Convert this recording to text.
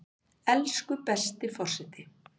Elsku besti forseti!